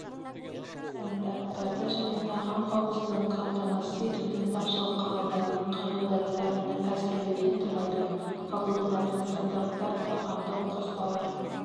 стандарттарды және тағам қауіпсіздігін қамтамасыз етудің басшылыққа алынатын қағидаттарын әзірлеуден тұрады қабылданатын стандарттар тағамдық қоспалар